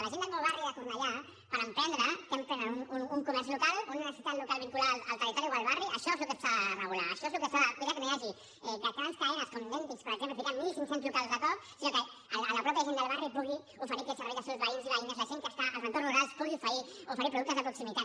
la gent del meu barri de cornellà per emprendre què emprenen un comerç local una necessitat local vinculada al territori o al barri això és el que s’ha de regular això és el que s’ha de cuidar que no hi hagi grans cadenes com dentix per exemple ficant mil cinc cents locals de cop sinó que la mateixa gent del barri pugui oferir aquests serveis als seus veïns i veïnes la gent que està als entorns rurals pugui oferir productes de proximitat